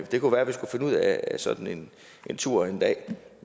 det kunne være vi skulle finde ud af sådan en tur en dag